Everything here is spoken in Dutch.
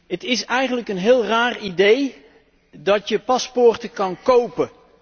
Het is eigenlijk een heel raar idee dat je paspoorten kan kopen.